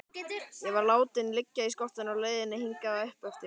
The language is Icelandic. Ég var látinn liggja í skottinu á leiðinni hingað uppeftir.